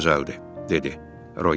Çox gözəldir, dedi Roger.